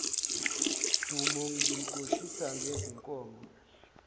dumo ngimxoshisa ngezinkomo